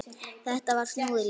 Þetta var snúið líf.